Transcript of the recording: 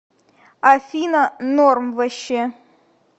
афина норм ваще